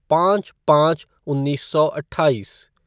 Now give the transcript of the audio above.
पाँच पाँच उन्नीस सौ अट्ठाईस